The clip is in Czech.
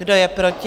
Kdo je proti?